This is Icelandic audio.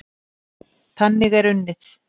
Þannig er unnið.